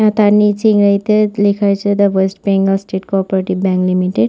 এবং তার নিচে ইংরেজি-তে লেখা রয়েছে the West Bengal State Cooperative Bank Limited.